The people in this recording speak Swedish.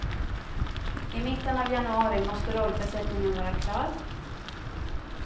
I mitten av januari måste rollbesättningen vara klar.